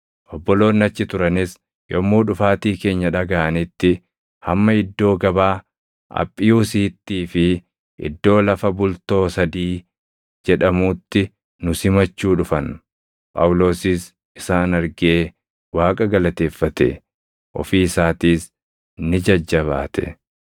Obboloonni achi turanis yommuu dhufaatii keenya dhagaʼanitti hamma iddoo gabaa Aphiyuusiittii fi iddoo “Lafa Bultoo Sadii” jedhamuutti nu simachuu dhufan; Phaawulosis isaan argee Waaqa galateeffate; ofii isaatiis ni jajjabaate.